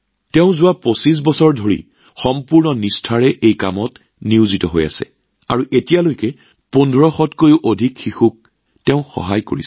যোৱা ২৫ বছৰ ধৰি সম্পূৰ্ণ নিষ্ঠাৰে এই কামত নিয়োজিত হৈ এতিয়ালৈকে ১৫০০ৰো অধিক শিশুক সহায় কৰিছে